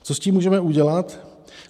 Co s tím můžeme udělat?